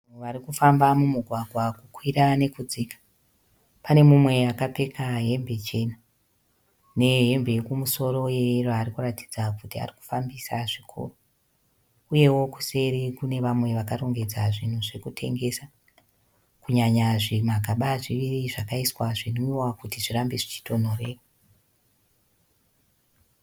Vanhu varikufamba mumugwagwa kukwira nekudzika. Pane mumwe akapfeka hembe chena, nehembe yekumusoro ye yero arikuratidza kuti arikufambisa zvikuru. Uyevo kuseri kune vamwe vakarongedza zvinhu zvekutengesa kunyanya zvimagaba zviviri zvakaiswa zvinwiwa kuti zvirambe zvichitonhorera.